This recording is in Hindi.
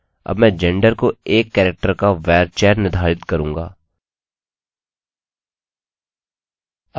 अब मैं gender को 1 कैरेक्टर का varchar निर्धारित करूँगा